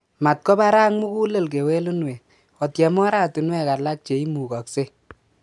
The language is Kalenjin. Matkobarak mugulel kewelunwek, otyem ortinwek alak che imugoksei.